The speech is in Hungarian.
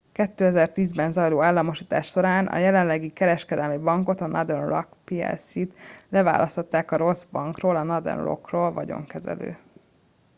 a 2010-ben zajló államosítás során a jelenlegi kereskedelmi bankot a northern rock plc-t leválasztották a rossz bankról” a northern rock-ról vagyonkezelő